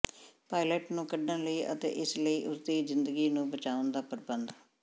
pilot ਨੂੰ ਕੱਢਣ ਲਈ ਅਤੇ ਇਸ ਲਈ ਉਸ ਦੀ ਜ਼ਿੰਦਗੀ ਨੂੰ ਬਚਾਉਣ ਦਾ ਪ੍ਰਬੰਧ